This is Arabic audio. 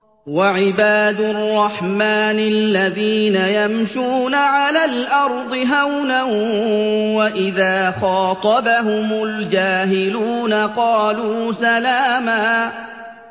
وَعِبَادُ الرَّحْمَٰنِ الَّذِينَ يَمْشُونَ عَلَى الْأَرْضِ هَوْنًا وَإِذَا خَاطَبَهُمُ الْجَاهِلُونَ قَالُوا سَلَامًا